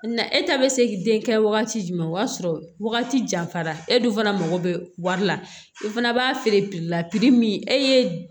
Na e ta bɛ se k'i den kɛ wagati jumɛn o y'a sɔrɔ wagati janfara e dun fana mako bɛ wari la i fana b'a feere la min e ye